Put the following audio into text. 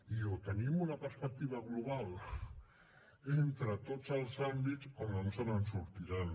i o tenim una perspectiva global entre tots els àmbits o no ens en sortirem